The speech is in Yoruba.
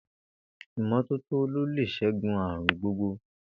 Ìmó̩tótó ló lè s̩égun àrùn gbogbo.